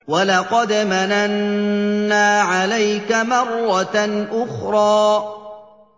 وَلَقَدْ مَنَنَّا عَلَيْكَ مَرَّةً أُخْرَىٰ